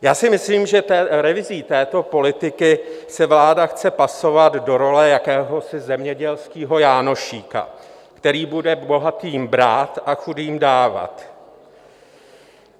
Já si myslím, že revizí této politiky se vláda chce pasovat do role jakéhosi zemědělského Jánošíka, který bude bohatým brát a chudým dávat.